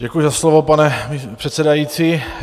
Děkuji za slovo, pane předsedající.